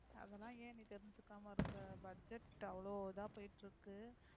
அதெல்லாம் ஏன் நீ தெரிஞ்சுக்கமா இருக்க budget அவ்ளோ இதா போய்ட்டு இருக்க.